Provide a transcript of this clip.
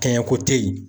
Kɛɲɛ ko te ye